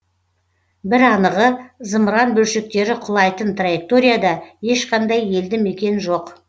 бір анығы зымыран бөлшектері құлайтын траекторияда ешқандай елді мекен жоқ